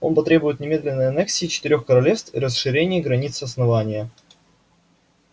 он потребует немедленной аннексии четырёх королевств и расширения границ основания